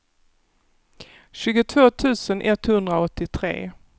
tjugotvå tusen etthundraåttiotre